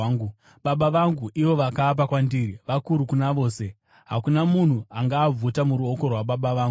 Baba vangu, ivo vakaapa kwandiri, vakuru kuna vose; hakuna munhu angaabvuta muruoko rwaBaba vangu.